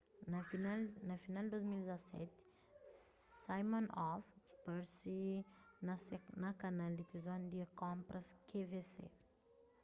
na final di 2017 siminoff parse na kanal di tilivizon di konpras qvc